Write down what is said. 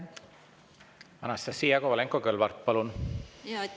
Anastassia Kovalenko-Kõlvart, palun!